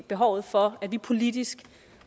behovet for at vi politisk